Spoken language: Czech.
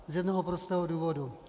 Z jednoho prostého důvodu.